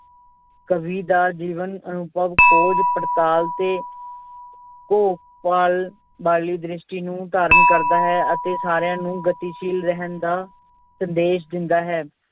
ਕਵੀ ਦਾ ਜੀਵਨ ਅਨੁਭਵ ਖੋਜ ਪੜਤਾਲ ਤੇ ਵਾਲੀ ਦ੍ਰਿਸ਼ਟੀ ਨੂੰ ਧਾਰਨ ਕਰਦਾ ਹੈ ਅਤੇ ਸਾਰਿਆਂ ਨੂੰ ਗਤੀਸ਼ੀਲ ਰਹਿਣ ਦਾ ਸੰਦੇਸ਼ ਦਿੰਦਾ ਹੈ।